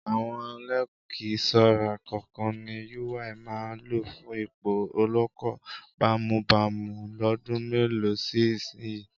Àwọn lẹ́kíṣọ́rà kọ̀ọ̀kan ni Yúwaì máa lọ fún ipò olóko bámúbamù lọ́dún mélòó si ìsinyìí.